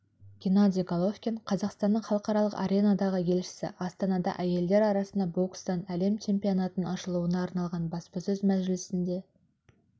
геннадий головкин қазақстанның халықаралық аренадағы елшісі астанада әйелдер арасында бокстан әлем чемпионатының ашылуына арналған баспасөз мәжілісінде